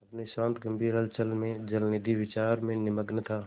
अपनी शांत गंभीर हलचल में जलनिधि विचार में निमग्न था